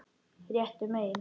Réttu megin?